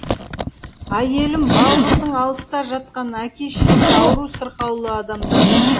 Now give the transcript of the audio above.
әйелім балқыздың алыста жатқан әке шешесі ауру сырқаулы адамдар